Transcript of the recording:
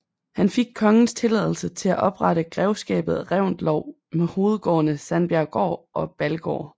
Han fik kongens tilladelse til at oprette Grevskabet Reventlow med hovedgårdene Sandbjerggård og Ballegård